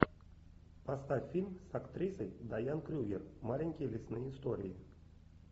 поставь фильм с актрисой дайан крюгер маленькие лесные истории